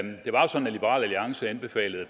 liberal alliance anbefalede